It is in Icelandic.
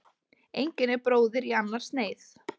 Engin er bróðir í annars neyð.